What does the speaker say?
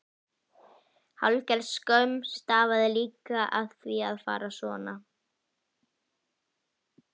Hálfgerð skömm stafaði líka af því að fara svona.